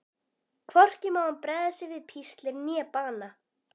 Hvorki má hann bregða sér við píslir né bana.